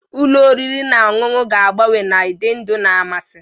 Ụlọ oriri na ọṅụṅụ ga agbanwe na ụdị ndụ na mmasị.